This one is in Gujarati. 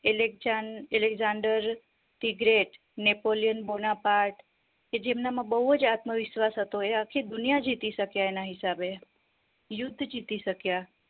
Alexander the great Napoleon Bonaparte કે જેનામાં બૌજ હતો એ આખી દુનિયા જીતી શકે એના હિસાબે યુદ્ધ જીતી શક્ય